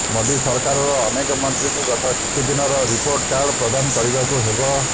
ମୋଦି ସରକାରର ଅନେକ ମନ୍ତ୍ରୀଙ୍କୁ ଗତ କିଛିଦିନର ରିପୋର୍ଟ କାର୍ଡ ପ୍ରଦାନ କରିବାକୁ ହେବ